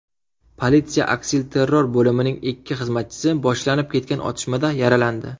Politsiya aksilterror bo‘limining ikki xizmatchisi boshlanib ketgan otishmada yaralandi.